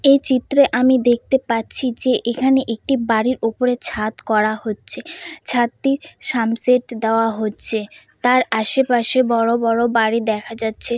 এই চিত্রে আমি দেখতে পাচ্ছি যে এখানে একটি বাড়ির উপরে ছাদ করা হচ্ছে ছাদটির সামসেট দেওয়া হচ্ছে তার আশেপাশে বড়ো বড়ো বাড়ি দেখা যাচ্ছে।